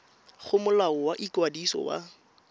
go molao wa ikwadiso wa